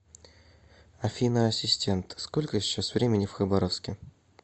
афина ассистент сколько сейчас времени в хабаровске